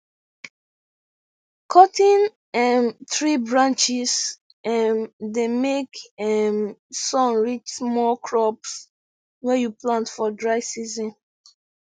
cuttin um tree branches um dey make um sun reach small crops wey you plant for dry season